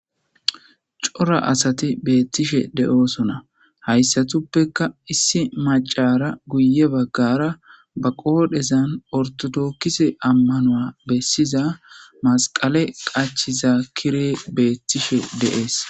Cora asati bretishe de7oosona.hayssatuppekka issi maccaara guyye baggara ba qoodhezan ortodokise ammano bessiza madqale qachida kirey beettishe de7ees.